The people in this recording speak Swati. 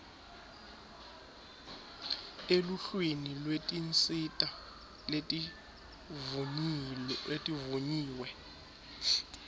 eluhlwini lwetinsita letivunyiwe